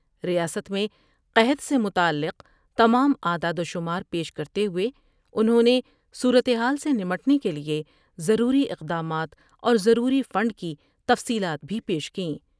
ریاست میں قحط سے متعلق تمام اعداد و شمار پیش کرتے ہوئے انھوں نے صورتحال سے نمٹنے کیلئے ضروری اقدامات اور ضروری فنڈ کی تفصیلات بھی پیش کی ۔